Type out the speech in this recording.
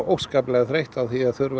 óskaplega þreytt á því